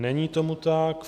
Není tomu tak.